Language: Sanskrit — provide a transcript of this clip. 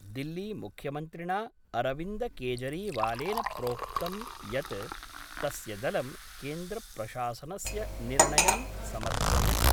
दिल्लीमुख्यमन्त्रिणा अरविन्द केजरीवालेन प्रोक्तं यत् तस्य दलं केन्द्रप्रशासनस्य निर्णयं समर्थयति।